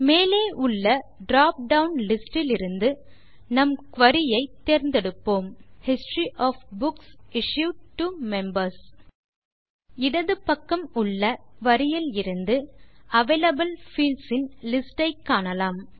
மேலே உள்ள drop down list இலிருந்து நம் குரி ஐ தேர்ந்தெடுப்போம் history of books issued to members இடது பக்கம் உள்ள குரி இலிருந்து அவைலபிள் பீல்ட்ஸ் இன் லிஸ்ட் ஐ காணலாம்